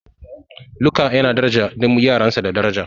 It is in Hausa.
Luka yana mutunta duk yaransa da daraja.